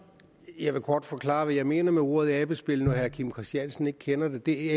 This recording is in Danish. jeg vil kort forklare hvad jeg mener med ordet abespil når herre kim christiansen ikke kender det det